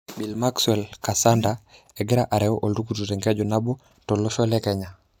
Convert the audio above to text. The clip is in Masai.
Bill Maxwell Kasanda:egira areu oltukutuk tenkeju naboo tolosho le Kenya.